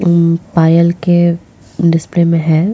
म पायल के डीस्प्ले में है।